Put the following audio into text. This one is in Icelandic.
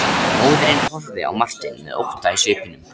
Móðirin horfði á Martein með ótta í svipnum.